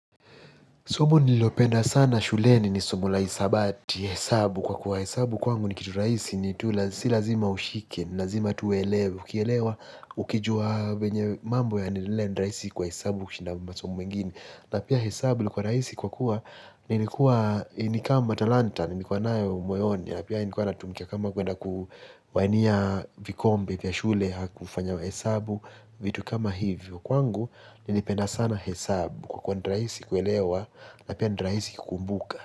Somo nililopenda sana shuleni ni somo la hisabati, hesabu kwa kuwa hesabu kwangu ni kitu rahisi ni tu si lazima ushike, lazima tu uelewe, ukijua venye mambo yanaendelea ni rahisi kwa hesabu kushinda masomo mengine. Na pia hesabu ilikuwa rahisi kwa kuwa ni ni kama talanta ni nimekuwa nayo moyoni na pia nilikuwa natumika kama kuenda kuwania vikombe vya shule au kufanya hesabu vitu kama hivyo kwangu ni napenda sana hesabu kwa kuwa ni rahisi kuelewa na pia ni rahisi kukumbuka.